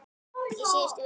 Í síðustu viku.